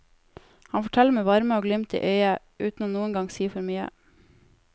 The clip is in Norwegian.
Han forteller med varme og glimt i øyet, uten noen gang å si for mye.